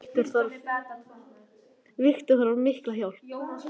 Metta, hvaða vikudagur er í dag?